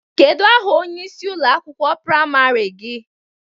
Kedụ aha onyeisi ụlọ akwụkwọ praimarị gị?